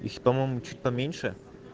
их по-моему чуть поменьше